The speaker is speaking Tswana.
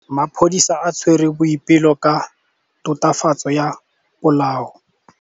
Maphodisa a tshwere Boipelo ka tatofatsô ya polaô.